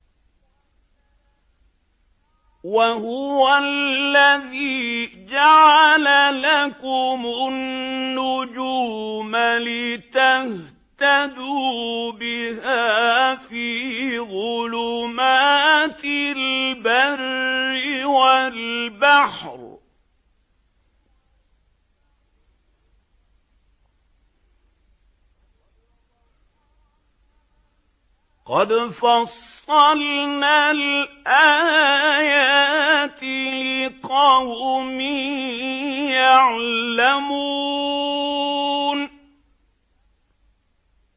وَهُوَ الَّذِي جَعَلَ لَكُمُ النُّجُومَ لِتَهْتَدُوا بِهَا فِي ظُلُمَاتِ الْبَرِّ وَالْبَحْرِ ۗ قَدْ فَصَّلْنَا الْآيَاتِ لِقَوْمٍ يَعْلَمُونَ